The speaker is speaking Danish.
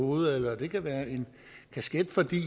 hovedet eller det kan være en kasket fordi